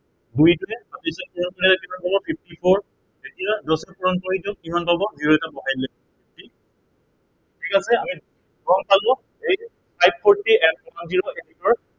দুইটোৱে fifty four এতিয়া দহেৰে পূৰণ কৰি দিয়ক, কিমান পাব zero এটা বহাই দিলেই হব fifty ঠিক আছে, আমি গম পালো five fourty